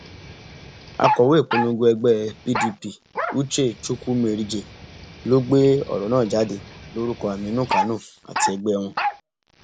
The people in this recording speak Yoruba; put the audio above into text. akọwé ìpolongo ẹgbẹ pdp uche chukwumerijẹ ló gbé ọrọ náà jáde lórúkọ aminu kánò àti ẹgbẹ wọn